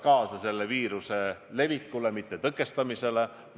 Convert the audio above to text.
Nüüd see rahutuste temaatika, mille te tõstatasite.